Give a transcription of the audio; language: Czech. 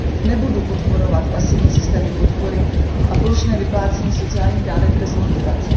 Nebudu podporovat pasivní systémy podpory a plošné vyplácení sociálních dávek bez motivace.